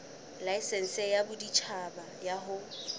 laesense ya boditjhaba ya ho